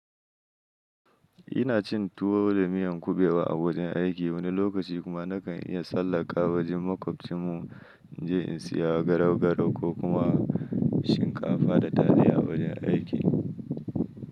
Ina cin tuwo da miyan kubewa a wajen aiki wani lokaci kuma nakan iya tsallaka wajen makwabcinmu in je in siya garau-garau ko kuma shinkafa da taliya a wajen aiki.